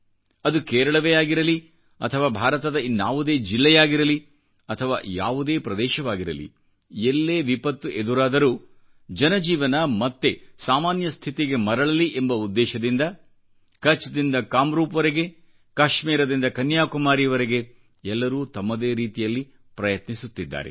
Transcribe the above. ಅದು ಕೇರಳವೇ ಆಗಿರಲಿ ಅಥವಾ ಭಾರತದ ಇನ್ನಾವುದೇ ಜಿಲ್ಲೆಯಾಗಿರಲಿ ಅಥವಾಯಾವುದೇ ಪ್ರದೇಶವಾಗಿರಲಿ ಎಲ್ಲೇ ವಿಪತ್ತು ಎದುರಾದರೂ ಜನಜೀವನ ಮತ್ತೆ ಸಾಮಾನ್ಯ ಸ್ಥಿತಿಗೆ ಮರಳಲಿ ಎಂಬ ಉದ್ದೇಶದಿಂದಕಛ್ದಿಂದ ಕಾಮ್ರೂಪ್ವರೆಗೆ ಮತ್ತು ಕಾಶ್ಮೀರದಿಂದ ಕನ್ಯಾಕುಮಾರಿವರೆಗೆ ಎಲ್ಲರೂ ತಮ್ಮದೇ ರೀತಿಯಲ್ಲಿ ಪ್ರಯತ್ನಿಸುತ್ತಿದ್ದಾರೆ